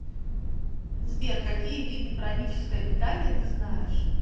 сбер какие виды праническое питание ты знаешь